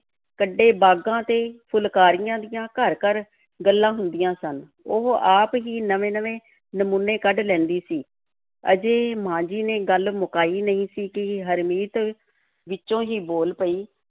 ਕੱਢੇ ਬਾਗ਼ਾਂ ਅਤੇ ਫੁਲਕਾਰੀਆਂ ਦੀਆਂ ਘਰ-ਘਰ ਗੱਲਾਂ ਹੁੰਦੀਆਂ ਸਨ, ਉਹ ਆਪ ਹੀ ਨਵੇਂ-ਨਵੇਂ ਨਮੂਨੇ ਕੱਢ ਲੈਂਦੀ ਸੀ, ਅਜੇ ਮਾਂ ਜੀ ਨੇ ਗੱਲ ਮੁਕਾਈ ਨਹੀਂ ਸੀ ਕਿ ਹਰਮੀਤ ਵਿੱਚੋਂ ਹੀ ਬੋਲ ਪਈ,